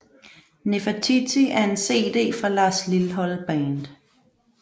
Nefertiti er en cd fra Lars Lilholt Band